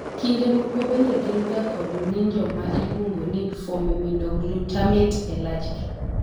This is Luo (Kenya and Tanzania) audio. kinde moko bende gin ga kod ng'injo ma iluongo ni formiminoglutamate e lach gi